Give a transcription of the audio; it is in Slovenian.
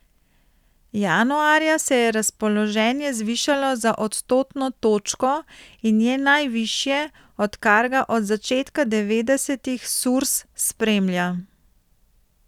Januarja se je razpoloženje zvišalo za odstotno točko in je najvišje, odkar ga od začetka devetdesetih Surs spremlja.